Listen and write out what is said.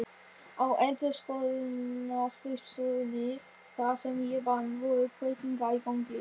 Á endurskoðunarskrifstofunni þar sem ég vann voru breytingar í gangi.